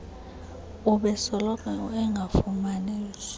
ubesoloko engafumani zi